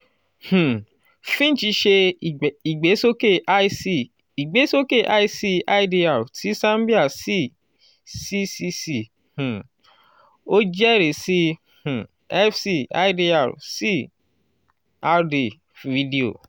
um finch ṣe ìgbésókè lc ìgbésókè lc idr ti zambia si ccc um o jẹrisi um fc idr si rd fìdíò